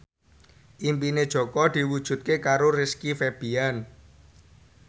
impine Jaka diwujudke karo Rizky Febian